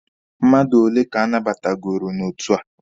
Mmadụ ole ka a nabatagooro n'otu a?